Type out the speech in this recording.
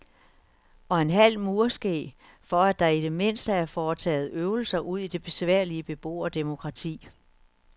Og en halv murske for at der i det mindste er foretaget øvelser udi det besværlige beboerdemokrati.